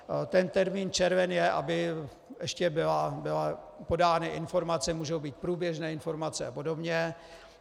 Ten termín červen je, aby ještě byly podány informace, můžou být průběžné informace a podobně.